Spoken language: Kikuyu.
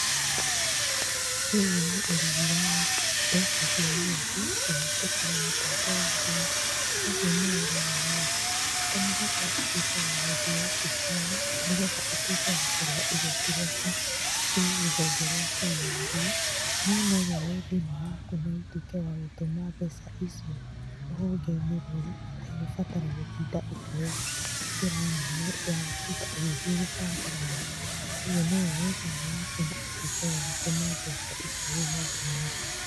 Ũyũ nĩ ũrĩhi wa mbeca cia yuthi kũhĩtũkĩra mũtambo wa thimũ. Kogwo nĩ ũronania atĩ to mũhaka ũtuĩke wa gũthiĩ obisi-inĩ nĩgetha ũtuĩke wa kũrĩha igoti rĩaku kwĩ rũhonge rwa KRA. No nowoe thimũ yaku notuĩke wa gũtũma mbeca icio rũhonge-inĩ rũu ũtegũbatara gũtinda ũkĩoya njĩra nene ya gũtinda ũgĩthiĩ gũbanga raini. Ũgwo nowoe thimũ yaku na ũtuĩke wa gũtũma mbeca icio rũhonge-inĩ rũu.